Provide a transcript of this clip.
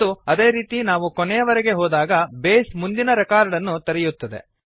ಮತ್ತು ಅದೇ ರೀತಿ ನಾವು ಕೊನೆಯವರೆಗೆ ಹೋದಾಗ ಬೇಸ್ ಮುಂದಿನ ರೆಕಾರ್ಡ್ ಅನ್ನು ತೆರೆಯುತ್ತದೆ